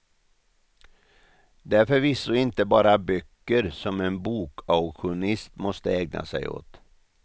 Det är förvisso inte bara böcker som en bokauktionist måste ägna sig åt.